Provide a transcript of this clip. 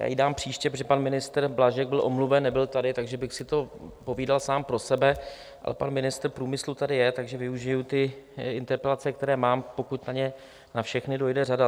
Já ji dám příště, protože pan ministr Blažek byl omluven, nebyl tady, takže bych si to povídal sám pro sebe, ale pan ministr průmyslu tady je, takže využiji ty interpelace, které mám, pokud na ně na všechny dojde řada.